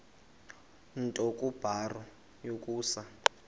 nto kubarrow yokusa